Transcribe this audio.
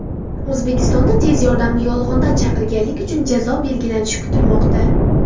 O‘zbekistonda tez yordamni yolg‘ondan chaqirganlik uchun jazo belgilanishi kutilmoqda.